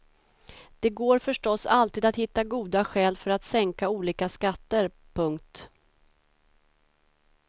Det går förstås alltid att hitta goda skäl för att sänka olika skatter. punkt